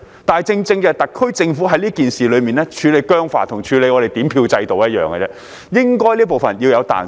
但是，特區政府在這件事情上處理僵化，跟處理點票程序一樣，這方面應該是要有彈性的。